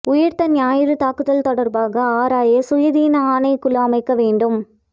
உயிர்த்த ஞாயிறு தாக்குதல் தொடர்பாக ஆராய சுயாதீன ஆணைக்குழு அமைக்க வேண்டும்